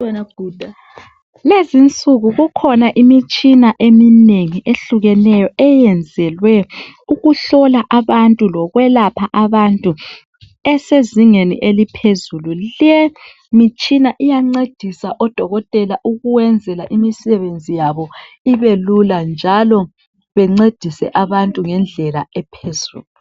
Lezinsuku kukhona imitshina eminengi ehlukeneyo eyenzelwe ukuhlola lokwelapha abantu esezingeni eliphezulu. Le mitshina iyancedisa oDokotela ukwenza imisebenzi yabo ibelula njalo bancedise abantu ngendlela ephezulu.